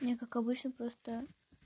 не как обычно просто